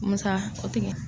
Musa, sotigi.